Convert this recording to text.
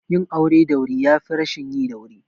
Yin aure da wuri yafi rashin yi da wuri